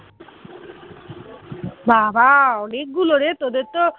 বাবা অনেকগুলো রে তোদের তো